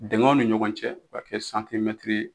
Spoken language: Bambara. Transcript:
Dingɛw ni ɲɔgɔn cɛ b'a kɛ santimɛtiri